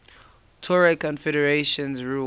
tuareg confederations ruled